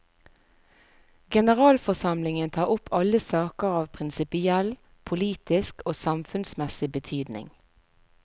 Generalforsamlingen tar opp alle saker av prinsipiell, politisk og samfunnsmessig betydning.